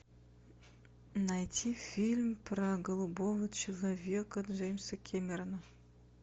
найти фильм про голубого человека джеймса кэмерона